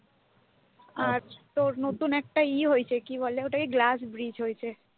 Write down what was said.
আর তোর নতুন একটা ইয়ে হয়েছে ওটাকে কি বলে glass bridge হয়েছে।